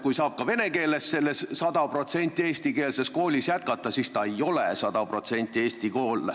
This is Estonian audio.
Kui saab ka vene keeles õppimist selles sada protsenti eestikeelses koolis jätkata, siis see ei ole sada protsenti eesti kool.